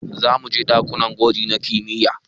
Zamuje ɗakunan gwaji na kimiyya